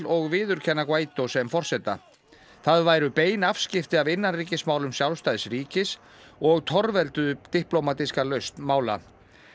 og viðurkenna Guaidó sem forseta það væru bein afskipti af innanríkismálum sjálfstæðs ríkis og torvelduðu diplómatíska lausn mála